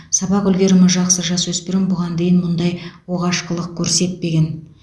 сабақ үлгерімі жақсы жасөспірім бұған дейін мұндай оғаш қылық көрсетпеген